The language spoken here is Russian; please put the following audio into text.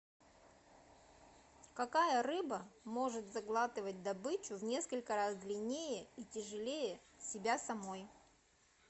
какая рыба может заглатывать добычу в несколько раз длиннее и тяжелее себя самой